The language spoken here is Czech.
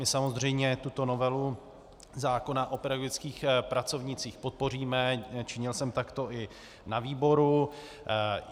My samozřejmě tuto novelu zákona o pedagogických pracovnících podpoříme, činil jsem takto i na výboru.